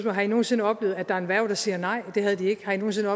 har i nogen sinde oplevet at der er en værge der siger nej det havde de ikke har i nogen sinde